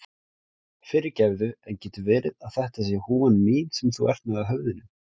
Fyrirgefðu, en getur verið að þetta sé húfan mín sem þú ert með á höfðinu?